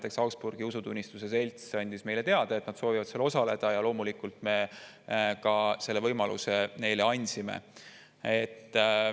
Näiteks Augsburgi Usutunnistuse Selts andis meile teada, et nad soovivad seal osaleda, ja loomulikult me selle võimaluse neile ka andsime.